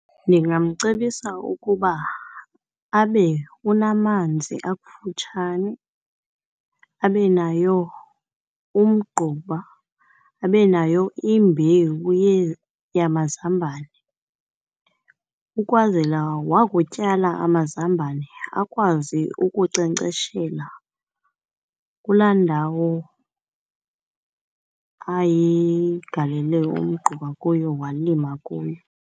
Ndingamcebisa ukuba abe unamanzi akufutshane, abe nayo umgquba, abe nayo imbewu yamazambane ukwazela wakutyala amazambane akwazi ukunkcenkceshela kulaa ndawo ayigalele umgquba kuyo walima kuyo.